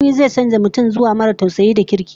Zaman birni zai canza mutum zuwa maras tausayi da kirki